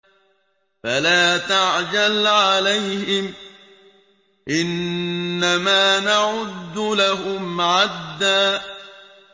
فَلَا تَعْجَلْ عَلَيْهِمْ ۖ إِنَّمَا نَعُدُّ لَهُمْ عَدًّا